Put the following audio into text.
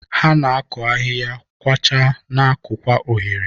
Ha na-akụ ahihia, kwachaa, na-akụkwa oghere.